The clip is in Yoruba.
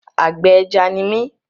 Àgbẹ̀ ẹja ni mí.